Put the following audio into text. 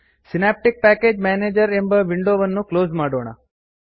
synaptic package manager ಎಂಬ window ವನ್ನು close ಮಾಡೋಣ